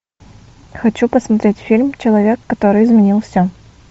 хочу посмотреть фильм человек который изменил все